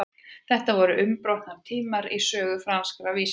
þetta voru umbrotatímar í sögu franskra vísinda